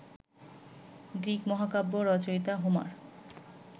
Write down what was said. Greek মহাকাব্য রচয়িতা Homer